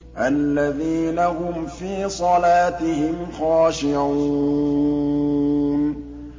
الَّذِينَ هُمْ فِي صَلَاتِهِمْ خَاشِعُونَ